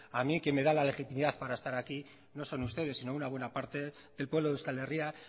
a mí que me da la legitimidad para estar aquí no son ustedes sino una buena parte del pueblo de euskal herria